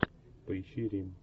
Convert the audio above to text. поищи рим